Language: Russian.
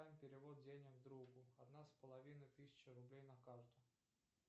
перевод денег другу одна с половиной тысяча рублей на карту